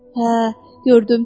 Hə, gördüm.